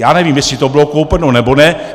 Já nevím, jestli to bylo koupeno, nebo ne.